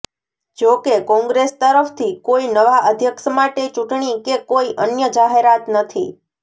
જો કે કોંગ્રેસ તરફથી કોઈ નવા અધ્યક્ષ માટે ચૂંટણી કે કોઈ અન્ય જાહેરાત નથી